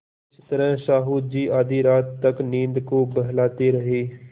इस तरह साहु जी आधी रात तक नींद को बहलाते रहे